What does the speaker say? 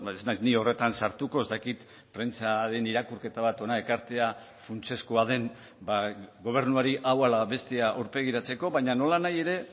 ez naiz ni horretan sartuko ez dakit prentsaren irakurketa bat hona ekartzea funtsezkoa den gobernuari hau ala bestea aurpegiratzeko baina nolanahi ere